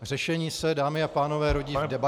Řešení se, dámy a pánové rodí v debatě -